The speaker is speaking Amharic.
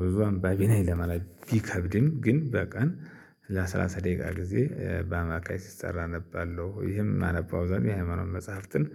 ብዙ አንባቢ ነኝ ለማለት ቢከብድም ግን በቀን ለሰላሳ ደቂቃ ጊዜ በአማካይ ሲሰራ አነባለሁ። ይሄም ማነበው አብዛኛው የሃይማኖት መጽሐፍትን